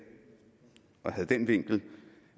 og havde den vinkel